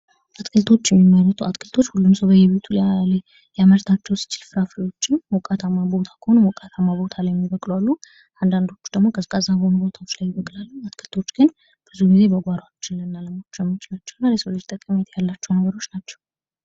አትክልቶች የሚመረቱ አትክልቶች ሁሉም ሰው በየቤቱ ሊያምርታቸው ሲችል ፍራፍሬዎችም ሞቃታማ ቦታ ከሆኑ ሞቃታማ ቦታ የሚበቅሉ አሉ:: አንዳንዶቹ ደግሞ ቀዝቃዛማ ቦታዎች ላይ ይበቅላሉ:: አትክልቶች ግን ብዙ ጊዜ በጕሯችን ልናለማቸው የምንችላቸው እና ለሰው ልጅ ጠቀሜታ ያላቸው ናቸው::